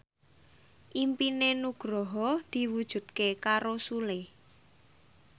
impine Nugroho diwujudke karo Sule